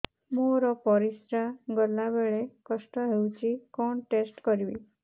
ମୋର ପରିସ୍ରା ଗଲାବେଳେ କଷ୍ଟ ହଉଚି କଣ ଟେଷ୍ଟ କରିବି